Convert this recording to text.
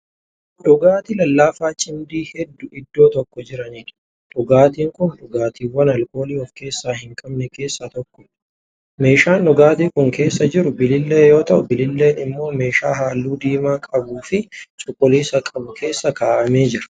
Dhugaatii lallaafaa cimdii hedduu iddoo tokko jiraniidha. dhugaatiin Kuni dhugaatiiwwan alkoolii of keessaa hin qabne keessaa tokkoodha. meeshaan dhugaatii Kuni keessa jiru bilillee yoo ta'u bililleen immoo meeshaa halluu diimaa qabuufi cuquliisa qabu keessa kaa'amee Jira.